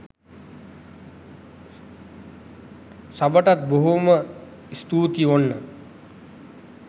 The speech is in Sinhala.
සබටත් බොහොම ස්තූතියි ඔන්න